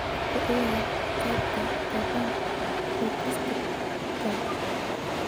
ku ciyaar qeybta tobanka podcast-ka